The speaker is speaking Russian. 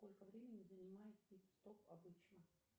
сколько времени занимает пит стоп обычно